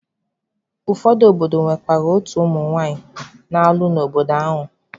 Ụfọdụ obodo nwekwara otu ụmụ nwanyị a na-alụ n'obodo ahụ.